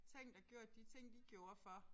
Tænkt og gjort de ting de gjorde for